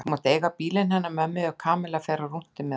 Þú mátt eiga bílinn hennar mömmu ef Kamilla fer á rúntinn með okkur